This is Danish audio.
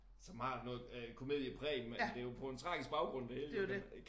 Som har noget øh komediepræg men det jo på en tragisk baggrund det hele jo kan man